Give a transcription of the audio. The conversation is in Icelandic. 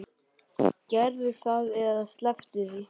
Gerðu það eða slepptu því.